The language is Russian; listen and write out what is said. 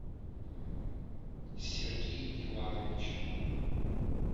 сергей иванович